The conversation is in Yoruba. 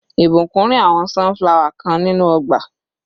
Ìbùkún ri àwọn sunflower kan nínú ọgbà.